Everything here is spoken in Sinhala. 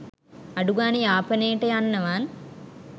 අඩුගාණේ යාපනේට යන්නවත්